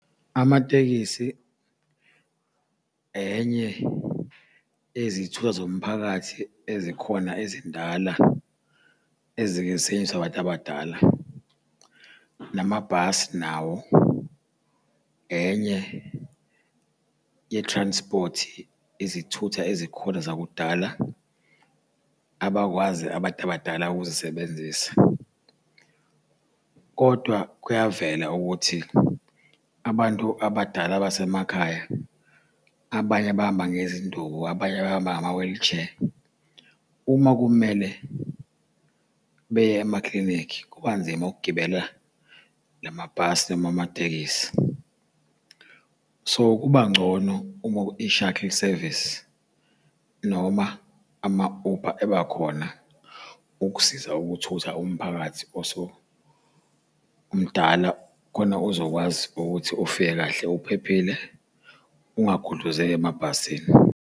Amatekisi enye yezithutha zomphakathi ezikhona ezindala ezike y'setshenziswe abantu abadala. Namabhasi nawo, enye ye-transport izithutha ezikhona zakudala abakwazi abantu abadala ukuzisebenzisa, kodwa kuyavela ukuthi abantu abadala basemakhaya, abanye bahamba ngezinduku abanye bahamba ngama-wheelchair. Uma kumele beye emaklinikhi kuba nzima ukugibela la mabhasi noma amatekisi. So, kuba ngcono uma i-shuttle service noma ama-Uber eba khona ukusiza ukuthutha umphakathi osumdala khona uzokwazi ukuthi ufike kahle uphephile ungagudluzeki emabhasini.